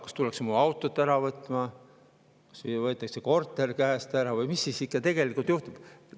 Kas tullakse mu autot ära võtma, võetakse korter käest ära või mis siis tegelikult juhtub?